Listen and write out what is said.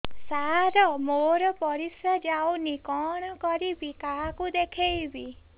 ସାର ମୋର ପରିସ୍ରା ଯାଉନି କଣ କରିବି କାହାକୁ ଦେଖେଇବି